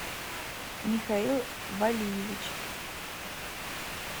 михаил валиевич